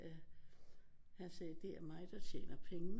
At han sagde det er mig der tjener pengene